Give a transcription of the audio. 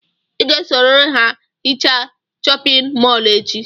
Ị ga-esorịrị ha gaa hichaa chọpịn mọọlụ echi!